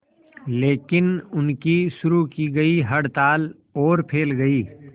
लेकिन उनकी शुरू की गई हड़ताल और फैल गई